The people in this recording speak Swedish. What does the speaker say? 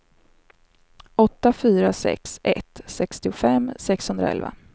åtta fyra sex ett sextiofem sexhundraelva